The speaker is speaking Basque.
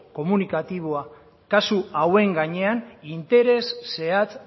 komunikatiboa kasu hauen gainean interes zehatz